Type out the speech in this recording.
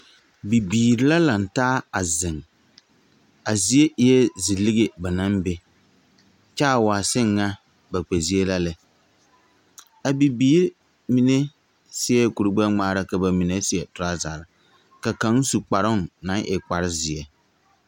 Bibiiri la laŋ taa a zeŋ, a zie eɛ zi lige ba naŋ be, kyɛ waa seŋ ŋa ba kpɛzie la lɛ, a bibiiri mine seɛ kuri gbɛŋmaara, ka bamine seɛ trɔsare, ka kaŋa su kparoo naŋ e kpare zeɛ. 13375